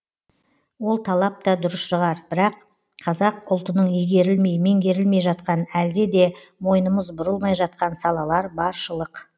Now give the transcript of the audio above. ол талап та дұрыс шығар бірақ қазақ ұлтының игерілмей меңгерілмей жатқан әлде де мойнымыз бұрылмай жатқан салалар баршылық